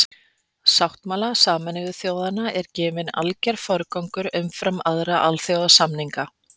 sáttmála sameinuðu þjóðanna er gefinn alger forgangur umfram aðra alþjóðasamninga